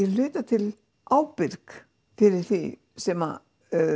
hluta til ábyrg fyrir því sem